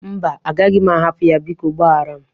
Mba, agaghị m ahapụ ya. Biko gbaghara m.